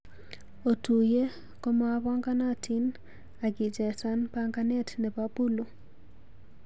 Otuiye komopanganatin ak ichesan panganet nebo puluu